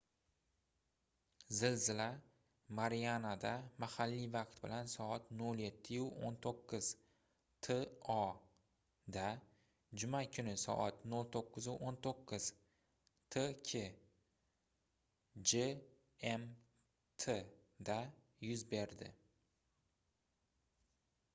zilzila marianada mahalliy vaqt bilan soat 07:19 to da juma kuni soat 09:19 tk gmt da yuz berdi